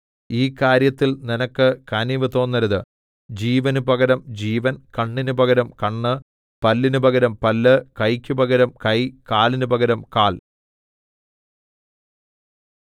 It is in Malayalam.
ഈ കാര്യത്തിൽ നിനക്ക് കനിവ് തോന്നരുത് ജീവന് പകരം ജീവൻ കണ്ണിന് പകരം കണ്ണ് പല്ലിന് പകരം പല്ല് കൈയ്ക്കു പകരം കൈ കാലിന് പകരം കാൽ